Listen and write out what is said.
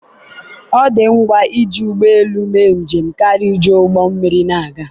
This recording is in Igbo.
ọ dị ngwa iji ụgbọ elu mee njem karịa iji ụgbọ mmiri na-aga